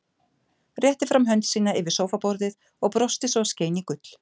Rétti fram hönd sína yfir sófaborðið og brosti svo að skein í gull.